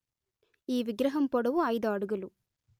ఈ విగ్రహం పొడవు ఐదు అడుగులు